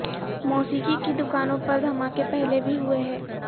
موسیقی کی دکانوں پر دھماکے پہلے بھی ہوئے ہیں